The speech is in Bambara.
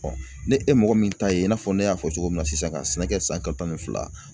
ni e mɔgɔ min ta ye i n'a fɔ ne y'a fɔ cogo min na sisan ka sɛnɛ kɛ san kalo tan ni fila